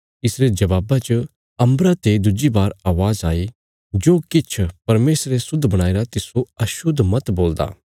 इसरे जवाबा च अम्बरा ते दुज्जी बार अवाज़ आई जो किछ परमेशरे शुद्ध बणाईरा तिस्सो अशुद्ध मत बोलदा